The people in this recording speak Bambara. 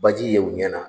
Baji ye u ɲɛna